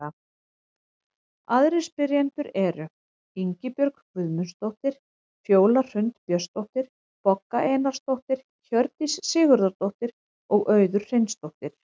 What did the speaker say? Aðrir spyrjendur eru: Ingibjörg Guðmundsdóttir, Fjóla Hrund Björnsdóttir, Bogga Einarsdóttir, Hjördís Sigurðardóttir og Auður Hreinsdóttir.